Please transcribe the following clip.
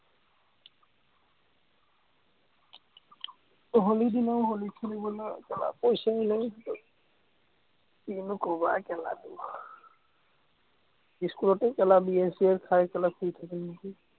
হলিৰ দিনাও হলি খেলিবলৈ পইচাই নাই, হাতত। কিনো কবা তোমাৰ। ইস্কুলতো bear চিয়েৰ খাই শুই থাকিম নেকি।